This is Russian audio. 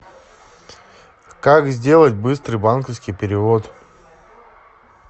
как сделать быстрый банковский перевод